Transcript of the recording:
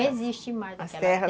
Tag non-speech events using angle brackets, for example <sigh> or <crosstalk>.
Não existe mais aquela <unintelligible> as terras